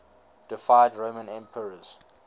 deified roman emperors